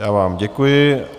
Já vám děkuji.